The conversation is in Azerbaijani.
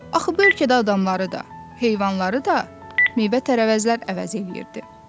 Axı bu ölkədə adamları da, heyvanları da meyvə-tərəvəzlər əvəz eləyirdi.